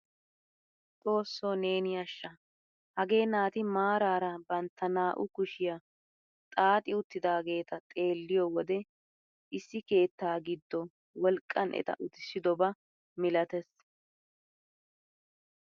Xoossoo neeni ashsha! hagee naati maarara bantta naa"u kushshiyaa xaaxi uttidageeta xeelliyoo wode issi keettaa giddo wolqqan eta uttisidoba milatees!